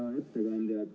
Hea ettekandja!